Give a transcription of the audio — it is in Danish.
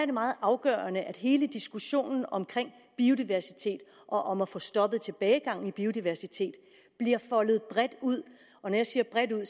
det meget afgørende at hele diskussionen om biodiversitet og om at få stoppet tilbagegangen i biodiversitet bliver foldet bredt ud når jeg siger bredt ud